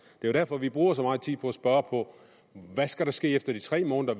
jo derfor vi bruger så meget tid på at spørge hvad skal ske efter de tre måneder